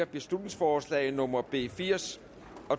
beslutningsforslag nummer b firs